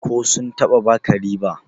ko sun taba baka riba?